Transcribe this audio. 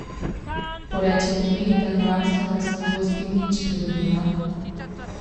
Porečete mi, da nravstvenost ne bo s tem nič pridobila?